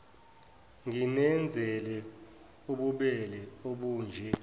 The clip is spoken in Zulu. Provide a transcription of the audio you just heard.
nginenzele ububele obunje